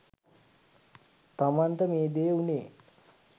තමන්ට මේ දේ වුනේ